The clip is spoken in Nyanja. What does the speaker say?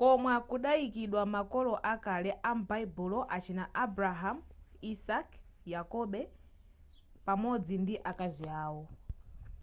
komwe kudayikidwa makolo akale am'baibulo achina abrahamu isake yakobo pamodzi ndi azikazi awo